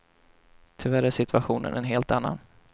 Tyvärr är situationen en helt annan.